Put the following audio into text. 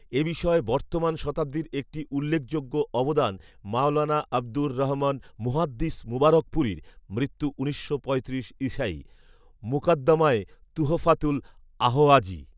এ বিষয়ে বর্তমান শতাব্দীর একটি উল্লেখযোগ্য অবদান মাওলানা আবদুর রহমান মুহাদ্দিস মুবারকপুরীর মৃত্যু উনিশশো পঁয়ত্রিশ ঈসায়ী ‘মুকাদ্দামায়ে তুহফাতুল আহওয়াযী’